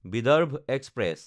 Vidarbha express